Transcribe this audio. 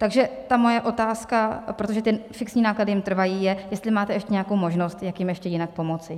Takže ta moje otázka, protože ty fixní náklady jim trvají, je, jestli máte ještě nějakou možnost, jak jim ještě jinak pomoci.